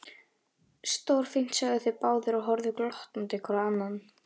Stórfínt sögðu þeir báðir og horfðu glottandi hvor á annan.